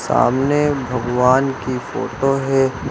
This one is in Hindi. सामने भगवान की फोटो है।